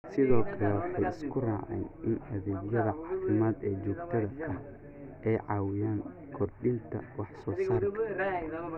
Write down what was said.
Sidoo kale, waxay isku raaceen in adeegyada caafimaad ee joogtada ahi ay caawiyaan kordhinta wax soo saarka.